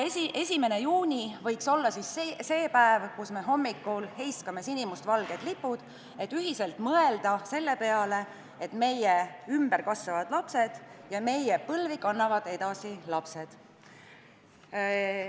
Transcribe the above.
1. juuni võiks olla see päev, kui me hommikul heiskame sinimustvalged lipud, et ühiselt mõelda selle peale, et meie ümber kasvavad lapsed ja meie põlve kannavad edasi lapsed.